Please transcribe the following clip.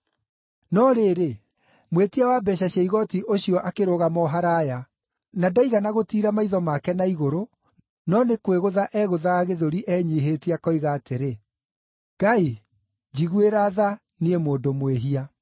“No rĩrĩ, mwĩtia wa mbeeca cia igooti ũcio akĩrũgama o haraaya; na ndaigana gũtiira maitho make na igũrũ, no nĩ kwĩgũtha eegũthaga gĩthũri enyiihĩtie, akoiga atĩrĩ, ‘Ngai, njiguĩra tha, niĩ mũndũ mwĩhia.’